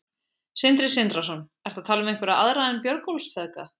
Sindri Sindrason: Ertu að tala um einhverja aðra en Björgólfsfeðga?